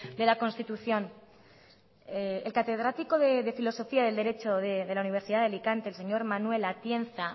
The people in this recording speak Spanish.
de la constitución el catedrático de filosofía del derecho de la universidad de alicante el señor manuel atienza